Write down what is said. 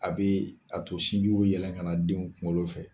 A bɛ a to sin jiw bɛ yɛlɛ ka denw kunkolo fɛ.